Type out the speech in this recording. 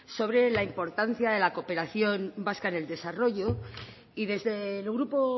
sobre la importante de la cooperación vasca enel desarrollo desde el grupo